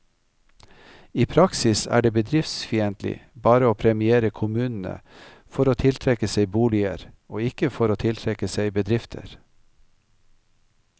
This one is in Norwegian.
I praksis er det bedriftsfiendtlig bare å premiere kommunene for å tiltrekke seg boliger, og ikke for å tiltrekke seg bedrifter.